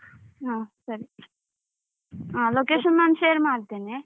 ಹ ಸರಿ. ಹ location ನಾನು share ಮಾಡ್ತೇನೆ.